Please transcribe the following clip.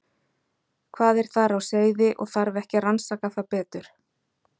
Hvað er þar á seyði og þarf ekki að rannsaka það betur?